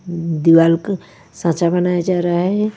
मम दीवाल का सांचा बनाया जा रहा है।